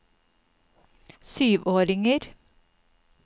syvåringer